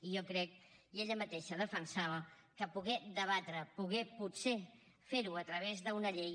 i jo crec i ella mateixa defensava que poder debatre poder potser fer ho a través d’una llei